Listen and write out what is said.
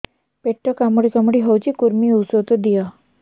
ପେଟ କାମୁଡି କାମୁଡି ହଉଚି କୂର୍ମୀ ଔଷଧ ଦିଅ